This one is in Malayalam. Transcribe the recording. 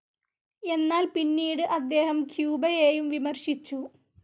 എന്നാൽ, പിന്നീട് അദ്ദേഹം ക്യൂബയെയും വിമർശിച്ചു.